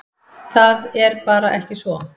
Það er bara ekki svo.